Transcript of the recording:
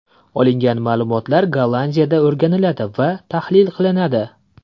Olingan ma’lumotlar Gollandiyada o‘rganiladi va tahlil qilinadi.